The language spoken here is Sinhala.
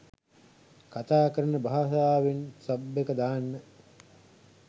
කතා කරන භාෂාවෙන් සබ් එක දාන්න